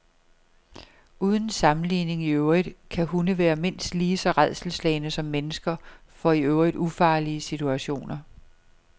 Uden sammenligning i øvrigt kan hunde være mindst lige så rædselsslagne som mennesker for i øvrigt ufarlige situationer.